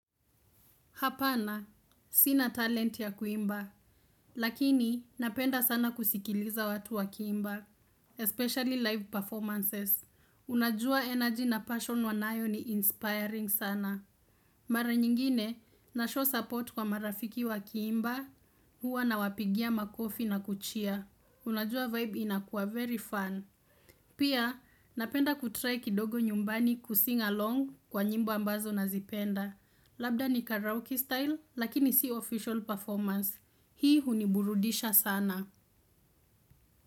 Hapana, sina talent ya kuimba. Lakini, napenda sana kusikiliza watu wakiimba. Especially live performances. Unajua energy na passion wanayo ni inspiring sana. Mara nyingine, na show support kwa marafiki wa kiimba, huwa na wapigia makofi na kucheer. Unajua vibe inakuwa very fun. Pia, napenda kutry kidogo nyumbani kusing along kwa nyimbo ambazo nazipenda. Labda ni karaoke style lakini si official performance. Hii huniburudisha sana.